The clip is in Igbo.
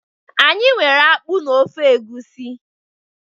Anyi nwere akpu na ofe Egusi.